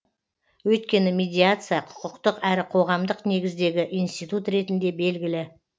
өйткені медиация құқықтық әрі қоғамдық негіздегі институт ретінде белгілі